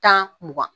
Tan mugan